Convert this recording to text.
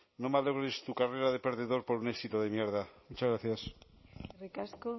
no malogres tu carrera de perdedor por un éxito de mierda muchas gracias eskerrik asko